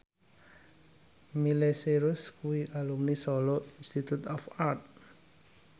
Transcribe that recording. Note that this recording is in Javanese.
Miley Cyrus kuwi alumni Solo Institute of Art